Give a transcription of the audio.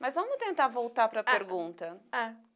Mas vamos tentar voltar para a pergunta. Ah ah